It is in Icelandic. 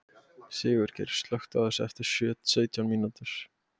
Sigurgeir, slökktu á þessu eftir sautján mínútur.